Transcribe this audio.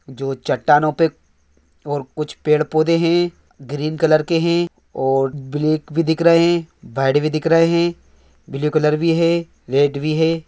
जो चटनों पे और कुछ पेड़ पौधे हैं। ग्रेन कलर के है। ओ दिख रहा है। बर्ड भी धिक रहा हैं। ब्लू कलर भी हैं। रेड भी है ।